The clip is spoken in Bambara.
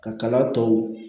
Ka kala tɔw